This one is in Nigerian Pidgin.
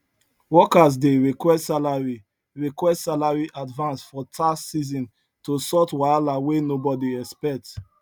workers dey request salary request salary advance for tax season to sort wahala wey nobody expect